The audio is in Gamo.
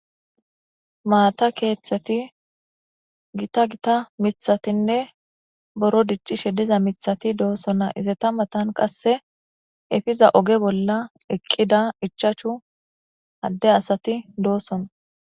Maata keethati giita giita mithatinne buro dicishe diza mithati dosona, izeta matani qase epiza ogey bolla eqida ichashu Ade asati dosona.